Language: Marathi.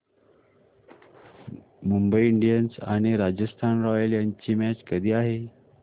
मुंबई इंडियन्स आणि राजस्थान रॉयल्स यांची मॅच कधी आहे